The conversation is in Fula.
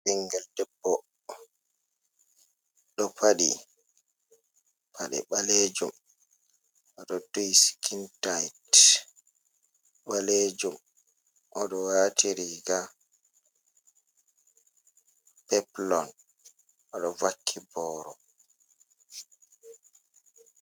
Ɓinngel debbo ɗo faɗi paɗe ɓaleejum, o ɗo duhi sikintayit ɓaleejum, o ɗo waati riiga peplon, o ɗo vakki booro.